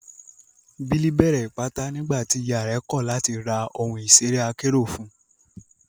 Billy bẹ̀rẹ̀ Ìpátá nígbà tí ìyà rẹ̀ kọ̀ láti ra ohun ìṣeré akérò fún un.